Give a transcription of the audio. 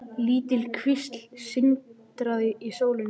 Lítil kvísl sindraði í sólinni.